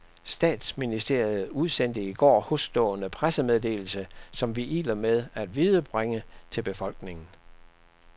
Statsministeriet udsendte i går hosstående pressemeddelelse, som vi iler med at viderebringe til befolkningen.